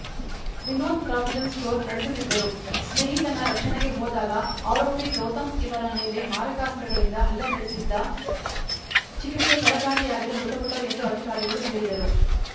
Vinod provision store ನಡೆಸುತ್ತಿದ್ದರು ಸ್ನೇಹಿತನ ರಕ್ಷಣೆಗೆ ಹೋದಾಗ ಆರೋಪಿ ಗೌತಮ್‌ ಇವರ ಮೇಲೆ ಮಾರಕಾಸ್ತ್ರಗಳಿಂದ ಹಲ್ಲೆ ನಡೆಸಿದ್ದ ಚಿಕಿತ್ಸೆ ಫಲಕಾರಿಯಾಗದೇ ಮೃತಪಟ್ಟರು ಎಂದು ಅಧಿಕಾರಿಗಳು ಹೇಳಿದರು